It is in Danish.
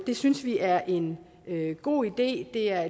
det synes vi er en god idé det er